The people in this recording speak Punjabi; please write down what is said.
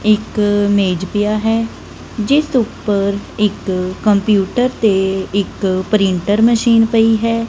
ਇੱਕ ਮੇਜ ਪਿਆ ਹੈ ਜਿੱਸ ਊਪਰ ਇੱਕ ਕੰਪਿਊਟਰ ਤੇ ਇੱਕ ਪ੍ਰਿੰਟਰ ਮਸ਼ੀਨ ਪਈ ਹੈ।